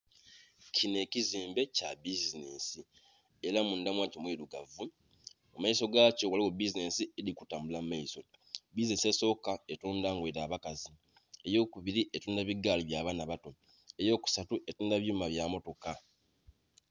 Kinho ekizimbe kya bizinensi era mundha mwa kyo mwirugavu, mu maiso gakyo ghaligho bizinensi edhili kutambula mu maiso. Bizinensi esooka etundha ngoye dha bakazi, ey'okubili etundha bigaali bya baana bato, ey'okusatu etundha ebyuma bya motoka.